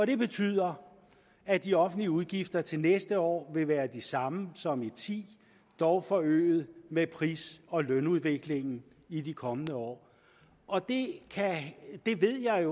det betyder at de offentlige udgifter til næste år vil være de samme som og ti dog forøget med pris og lønudviklingen i de kommende år og det det ved jeg